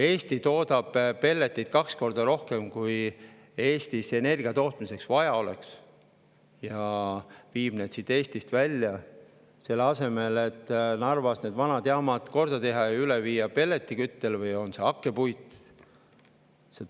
Eesti toodab pelleteid kaks korda rohkem, kui Eestis energia tootmiseks vaja oleks, ja viib need siit välja, selle asemel et Narvas need vanad jaamad korda teha ja üle viia hakkepuidu või pelletiküttele.